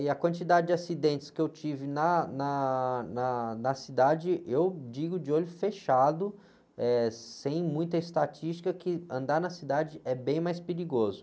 E a quantidade de acidentes que eu tive na, na, na, na cidade, eu digo de olho fechado, eh, sem muita estatística, que andar na cidade é bem mais perigoso.